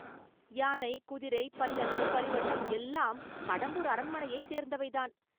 யானை, குதிரை, பல்லக்கு, பரிவட்டம், எல்லாம் கடம்பூர் அரண்மனையைச் சேர்ந்தவைதான்.